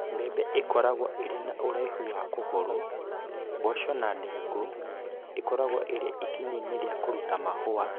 Mbembe ikoragwo irĩ na ũraihu wa kũgũrũ. Mboco na ndengũ ĩkoragwo ĩrĩ ĩkinyainĩ rĩa kuruta mahũa.